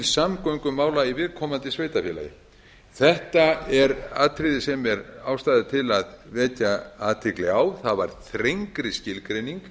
samgöngumála í viðkomandi sveitarfélagi þetta er atriði sem er ástæða til að vekja athygli á það er þrengri skilgreining